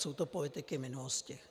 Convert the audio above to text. Jsou to politiky minulosti.